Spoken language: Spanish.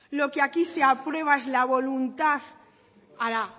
lo que aquí se aprueba es la voluntad ahora